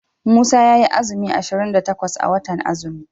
Musa yayi azumi ashirin da takwas a watan azumi.